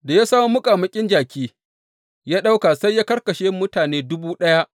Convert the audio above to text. Da ya samo muƙamuƙin jaki, ya ɗauka, sai ya karkashe mutane dubu ɗaya.